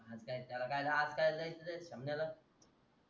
आज कायाला आज कायाला द्याचे त्या शेमण्या ला